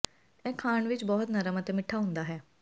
ਇਹ ਖਾਣ ਵਿਚ ਬਹੁਤ ਨਰਮ ਅਤੇ ਮਿੱਠਾ ਹੁੰਦਾ ਹੈ